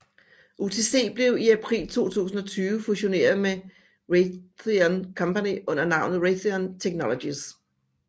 UTC blev i april 2020 fusioneret med Raytheon Company under navnet Raytheon Technologies